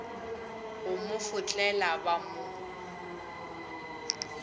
go mo fotlela ba mo